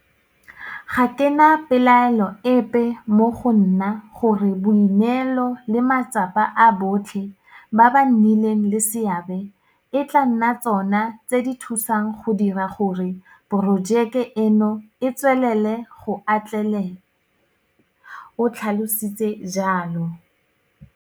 Ga ke na pelaelo epe mo go nna gore boineelo le matsapa a botlhe ba ba nnileng le seabe e tla nna tsona tse di thusang go dira gore porojeke eno e tswelele go atlela, o tlhalositse jalo.